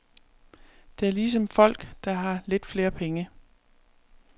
Det er ligesom folk, der har lidt flere penge.